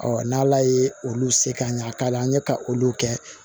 n'ala ye olu se ka ɲa k'a la an ye ka olu kɛ